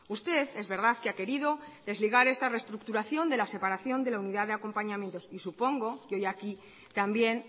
usted es verdad que ha querido desligar esta reestructuración de la separación de la unidad de acompañamiento y supongo que hoy aquí también